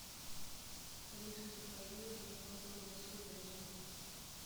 алиса закажи батон колбасы вязанка